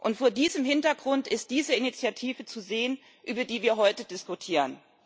Und vor diesem Hintergrund ist diese Initiative zu sehen, über die wir heute diskutieren.